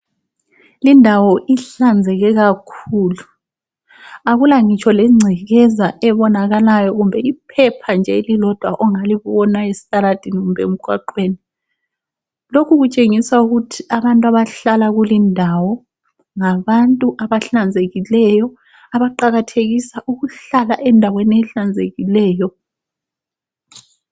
Lindawo ihlanzeke kakhulu, akula ngitsho lengcekeza ebonakalayo kumbe iphepha nje elilodwa ongalibona esitaladeni kumbe emgwaqweni. Lokhu kutshengisa ukuthi abantu abahlala kulindawo ngabantu abahlanzekileyo abaqakathekisa ukuhlala endaweni ehlanzekileyo.